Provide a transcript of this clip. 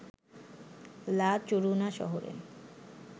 লা চরুনা শহরে